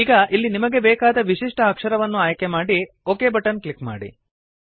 ಈಗ ಇಲ್ಲಿ ನಿಮಗೆ ಬೇಕಾದ ವಿಶಿಷ್ಟ ಅಕ್ಷರವನ್ನು ಆಯ್ಕೆ ಮಾಡಿ ಒಕ್ ಬಟನ್ ಕ್ಲಿಕ್ ಮಾಡಿ